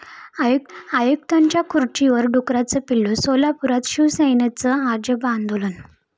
आयुक्तांच्या खुर्चीवर डुक्कराचं पिल्लू!, सोलापूरात शिवसेनेचं अजब आंदोलन